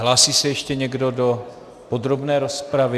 Hlásí se ještě někdo do podrobné rozpravy?